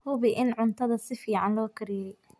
Hubi in cuntada si fiican loo kariyey.